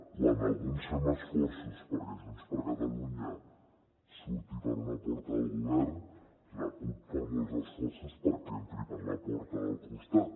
quan alguns fem esforços perquè junts per catalunya surti per una porta del govern la cup fa molts esforços perquè entri per la porta del costat